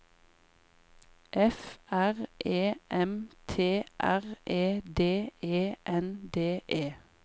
F R E M T R E D E N D E